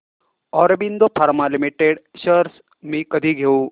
Aurobindo pharma limited shares मी कधी घेऊ